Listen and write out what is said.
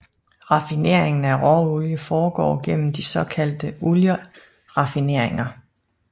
Raffineringen af råolie foregår gennem de såkaldte olieraffineringer